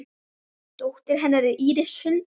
Dóttir hennar er Íris Huld.